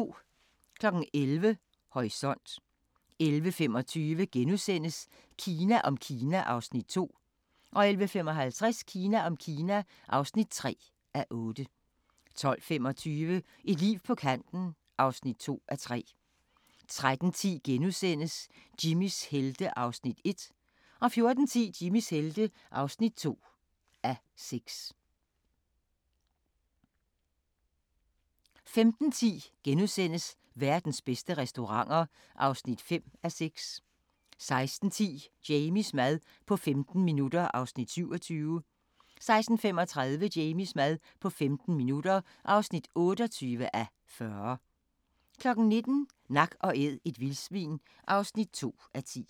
11:00: Horisont 11:25: Kina om Kina (2:8)* 11:55: Kina om Kina (3:8) 12:25: Et liv på kanten (2:3) 13:10: Jimmys helte (1:6)* 14:10: Jimmys helte (2:6) 15:10: Verdens bedste restauranter (5:6)* 16:10: Jamies mad på 15 minutter (27:40) 16:35: Jamies mad på 15 minutter (28:40) 19:00: Nak & æd – et vildsvin (2:10)